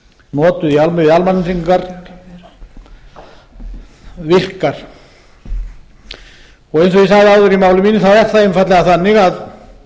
notuð á almannatryggingar virkar eins og ég sagði áður í máli mínu þá er það einfaldlega þannig að